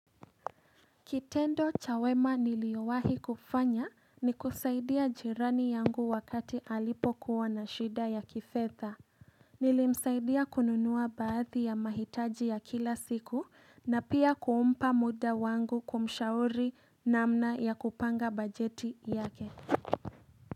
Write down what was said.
Kitendo cha wema niliyo wahi kufanya ni kusaidia jirani yangu wakati alipo kuwa na shida ya kifedha. Nilimsaidia kununua baadhi ya mahitaji ya kila siku na pia kumpa muda wangu kumshauri namna ya kupanga bajeti yake.